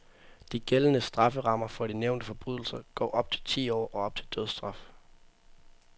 De gældende strafferammer for de nævnte forbrydelser går op til ti år og op til dødsstraf.